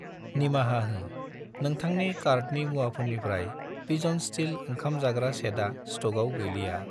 निमाहा हो, नोंथांनि कार्टनि मुवाफोरनिफ्राय पिजन स्टिल ओंखाम जाग्रा सेटआ स्टकआव गैलिया।